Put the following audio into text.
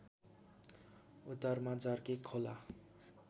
उत्तरमा जर्के खोला